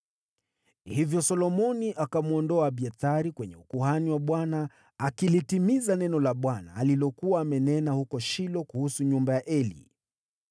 Hivyo Solomoni akamwondoa Abiathari kwenye ukuhani wa Bwana , akilitimiza neno la Bwana alilokuwa amenena huko Shilo kuhusu nyumba ya Eli.